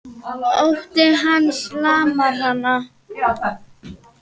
Ótti hans lamar hana.